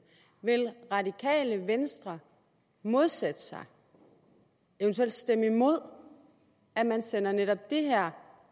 vil radikale venstre modsætte sig eventuelt stemme imod at man sender netop det her